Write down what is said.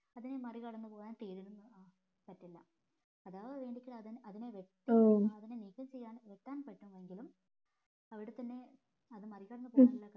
അതിന് മറി കടന്ന് പോവാൻ തീരിന് പറ്റില്ല അഥവാ വേണെങ്കിൽ അതിനെ വെട്ടാൻ അതിനെ നീക്കം ചെയ്യാൻ വെട്ടാൻ പറ്റുമെങ്കിലും അവിടെ തന്നെ അത് മറികടന്ന്